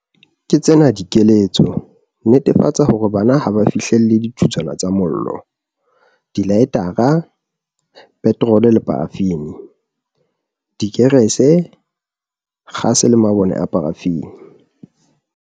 Ke tsena dikeletso- Netefatsa hore bana ha ba fihlelle dithutswana tsa mollo, dilaetara, petrole le parafini, dikerese, kgase le mabone a parafini.